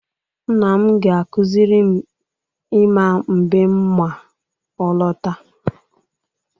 Nna m ga-akụziri m ịma mbem ma ọ lọta.